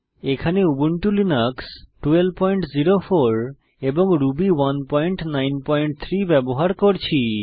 এখানে Ubuntu Linux 1204 এবং Ruby 193 ব্যবহার করছি